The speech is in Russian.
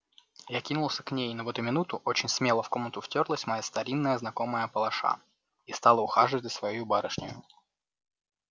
я кинулся к ней но в эту минуту очень смело в комнату втёрлась моя старинная знакомая палаша и стала ухаживать за своею барышнею